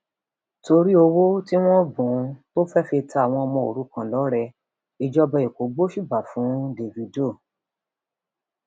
torí um owó tí wọn bùn ún tó fẹẹ fi ta àwọn ọmọ òrukàn lọrẹ ìjọba ẹkọ gbóṣùbà fún um davido